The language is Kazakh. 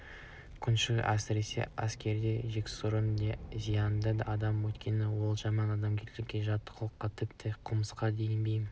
күншіл әсіресе әскерде жексұрын да зиянды адам өйткені ол жаман адамгершілікке жат қылыққа тіпті қылмысқа да бейім